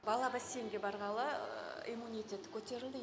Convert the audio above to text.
бала бассейнге барғалы иммунитеті көтерілді